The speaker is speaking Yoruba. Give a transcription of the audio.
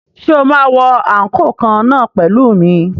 Ṣé o máa wọ àǹkóò kan náà pẹ̀lú mi?